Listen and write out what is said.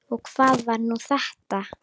Og hvað var nú þetta!